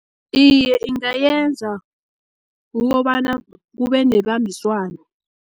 Iye, ingayenza kukobana kube nebambiswano.